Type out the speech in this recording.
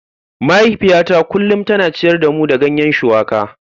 Mahaifiyata kullum tana ciyar da mu da ganye shuwaka.